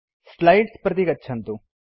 slides प्रति गच्छन्तु